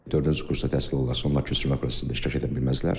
Dördüncü kursda təhsil alanlar köçürmə prosesində iştirak edə bilməzlər.